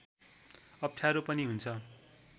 अप्ठ्यारो पनि हुन्छ